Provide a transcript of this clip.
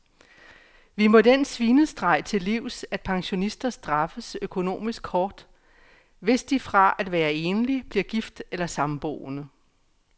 Vi må den svinestreg til livs, at pensionister straffes økonomisk hårdt, hvis de fra at være enlig bliver gift eller samboende.